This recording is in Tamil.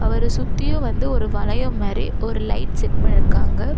அவரு சுத்தியு வந்து ஒரு வளையம் மாரி ஒரு லைட் செட் பண்ணிருக்காங்க.